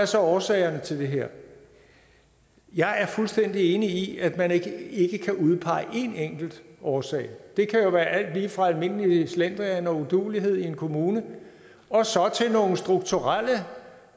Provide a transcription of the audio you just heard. så er årsagerne til det her jeg er fuldstændig enig i at man ikke ikke kan udpege en enkelt årsag det kan jo være alt lige fra almindelig slendrian og uduelighed i en kommune til nogle strukturelle